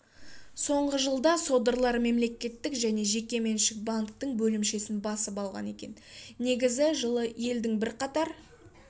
соңғы жылда содырлар мемлекеттік және жекеменшік банктің бөлімшесін басып алған екен негізі жылы елдің бірқатар